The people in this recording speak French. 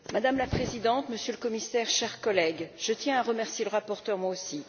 Madame la Présidente, Monsieur le Commissaire, chers collègues, je tiens à remercier le rapporteur, moi aussi.